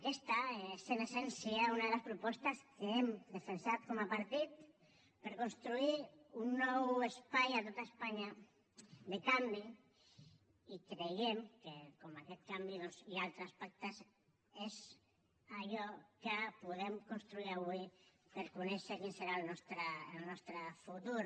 aquesta és en essència una de les propostes que hem defensat com a partit per construir un nou espai a tot espanya de canvi i creiem que com aquest canvi hi ha altres pactes és allò que podem construir avui per conèixer quin serà el nostre futur